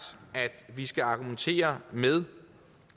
at vi skal argumentere med